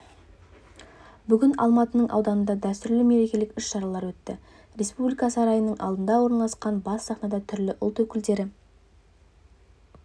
бүгін алматының ауданында дәстүрлі меркелік іс-шаралар өтті республика сарайының алдында орналасқан бас сахнада түрлі ұлт өкілдері